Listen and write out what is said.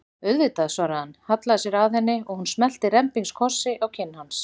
Auðvitað, svaraði hann, hallaði sér að henni og hún smellti rembingskossi á kinn hans.